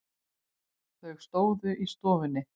Þau stóðu í stofunni.